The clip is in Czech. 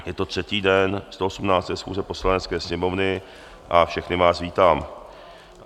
Je to třetí den 118. schůze Poslanecké sněmovny a všechny vás vítám.